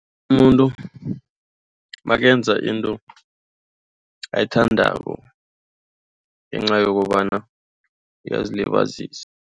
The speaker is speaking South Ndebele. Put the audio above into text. Umuntu nakenza into ayithandako ngenca yokobana uyazilibazisa.